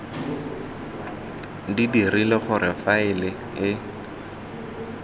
di dirile gore faele e